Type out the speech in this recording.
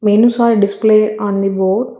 Menus are displayed on the board.